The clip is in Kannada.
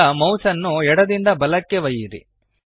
ಈಗ ಮೌಸ್ಅನ್ನು ಎಡದಿಂದ ಬಲಕ್ಕೆ ಚಲಿಸಿ